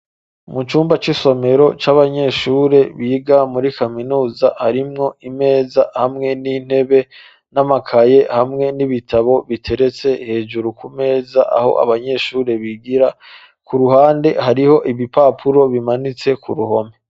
Mu cumba c'isomero c'abanyeshure biga muri kaminuza ,harimwo imeza hamwe n'intebe n'amakaye hamwe n'ibitabo biteretse hejuru ku meza aho abanyeshure bigira, ku ruhande hariho ibipapuro bimanitse ku ruhome.